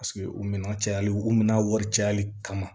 Paseke o minan cayali u mina wari cayali kama